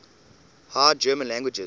high german languages